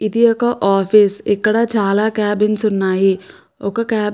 ఇది ఒక ఆఫీస్ ఇక్కడ చాలా క్యాబిన్స్ ఉన్నాయి ఒక క్యాబ్ --